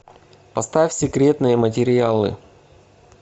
поставь секретные материалы